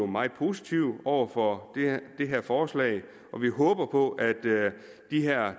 meget positive over for det her forslag og vi håber på at de her